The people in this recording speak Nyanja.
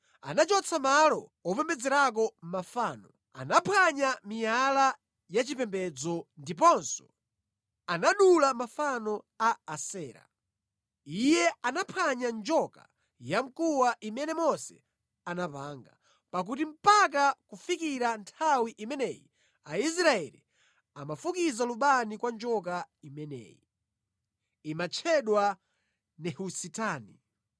Anachotsa malo opembedzerako mafano, anaphwanya miyala yachipembedzo ndiponso anadula mafano a Asera. Iye anaphwanya njoka yamkuwa imene Mose anapanga, pakuti mpaka kufikira nthawi imeneyi Aisraeli amafukiza lubani kwa njoka imeneyi. (Imatchedwa Nehusitani).